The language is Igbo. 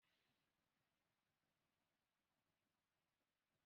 Ị hụla ebe ọ na-eti mpku mbụ?